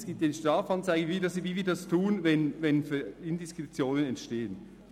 Es gibt eine Strafanzeige, so wie wir das handhaben, wenn Indiskretionen entstehen.